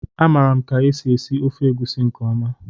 A maara m ka e si esi ofe egusi nke ọma